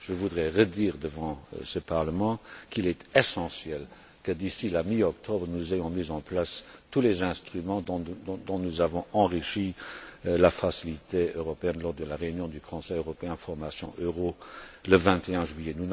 Je voudrais redire devant ce Parlement qu'il est essentiel que, d'ici la mi octobre, nous ayons mis en place tous les instruments dont nous avons enrichi la facilité européenne lors de la réunion du Conseil européen Formation euro le 21 juillet.